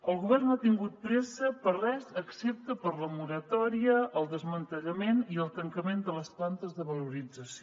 el govern no ha tingut pressa per a res excepte per a la moratòria el desmantellament i el tancament de les plantes de valorització